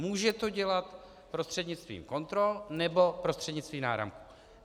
Může to dělat prostřednictvím kontrol nebo prostřednictvím náramků.